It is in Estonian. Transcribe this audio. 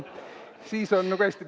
Siis on nagu hästi.